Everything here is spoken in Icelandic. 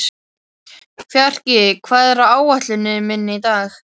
Fjarki, hvað er á áætluninni minni í dag?